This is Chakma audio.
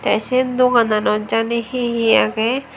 tey sye dogananot jani hi hi agey.